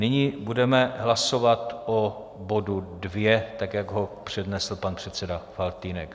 Nyní budeme hlasovat o bodu 2, tak jak ho přednesl pan předseda Faltýnek.